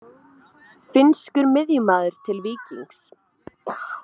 Finnskur miðjumaður til Víkings